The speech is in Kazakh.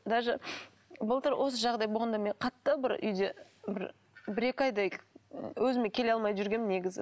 даже былтыр осы жағдай болғанда мен қатты бір үйде бір бір екі айдай өзіме келе алмай жүргенмін негізі